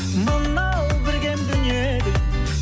мынау бір кем дүниеде